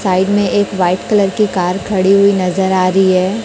Side में एक white colour की कार खड़ी हुई नजर आ रही है।